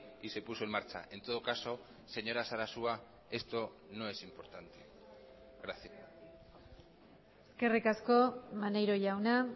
y se puso en marcha en todo caso señora sarasua esto no es importante gracias eskerrik asko maneiro jauna